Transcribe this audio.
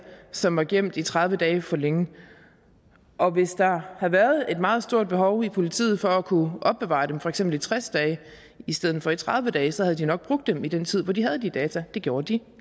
som var gemt i tredive dage for længe og hvis der havde været et meget stort behov i politiet for at kunne opbevare dem i for eksempel tres dage i stedet for i tredive dage så havde de nok brugt dem i den tid hvor de havde de data det gjorde de